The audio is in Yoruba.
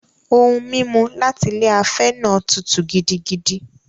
Ohun-mímu láti ilé afẹ́ náà tútù gidigidi.